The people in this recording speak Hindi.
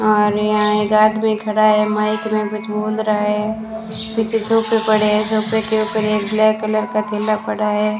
और यहां एक आदमी खड़ा है माइक मे कुछ बोल रहा है पीछे सोफे पड़े है सोफे के ऊपर एक ब्लैक कलर का थैला पड़ा है।